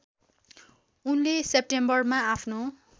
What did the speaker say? उनले सेप्टेम्बरमा आफ्नो